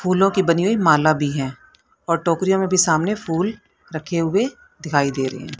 फूलों की बनी हुई माला भी है और टोकरियों मे भी सामने फूल रखे हुए दिखाई दे रहें हैं।